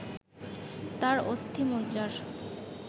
তার অস্থিমজ্জার